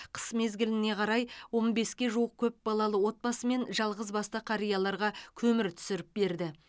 қыс мезгіліне қарай он беске жуық көпбалалы отбасы мен жалғыз басты қарияларға көмір түсіріп берді